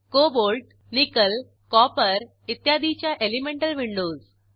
cobalt nickel copper इत्यादीच्या elemental Windows